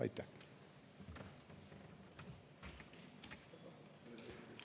Aitäh!